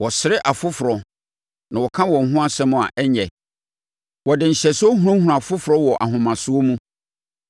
Wɔsere afoforɔ na wɔka wɔn ho nsɛm a ɛnyɛ; wɔde nhyɛsoɔ hunahuna afoforɔ wɔ ahomasoɔ mu.